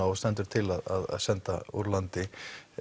og stendur til að senda úr landi